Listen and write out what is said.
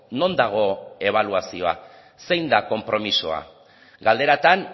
non dago ebaluazioa zein da konpromisoa galderatan